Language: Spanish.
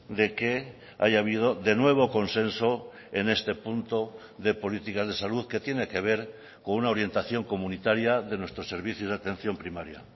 de que haya habido de nuevo consenso en este punto de políticas de salud que tiene que ver con una orientación comunitaria de nuestros servicios de atención primaria